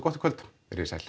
gott í kvöld verið þið sæl